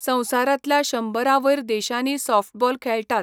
संवसारांतल्या शंबरां वयर देशांनी सॉफ्टबॉल खेळटात.